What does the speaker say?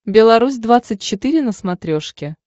белорусь двадцать четыре на смотрешке